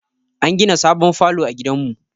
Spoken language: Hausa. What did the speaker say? An gina sabon falo a gidan mu